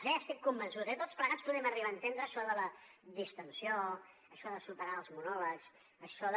n’estic convençut tots plegats podem arribar a entendre això de la distensió això de superar els monòlegs això de